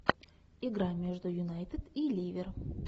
игра между юнайтед и ливер